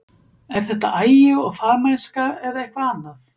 Er þetta agi og fagmennska eða eitthvað annað?